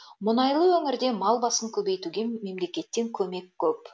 мұнайлы өңірде мал басын көбейтуге мемлекеттен көмек көп